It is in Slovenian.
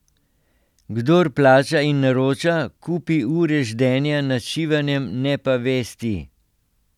Kdor plača in naroča, kupi ure ždenja nad šivanjem, ne pa vesti.